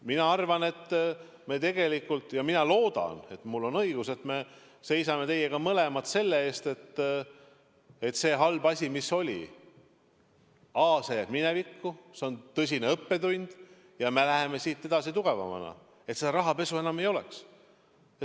Mina arvan ja ma loodan, et mul on õigus, et me seisame mõlemad selle eest, et see halb asi, mis oli, jääb minevikku, see on tõsine õppetund ja me läheme siit edasi tugevamana, nii et rahapesu enam ei ole.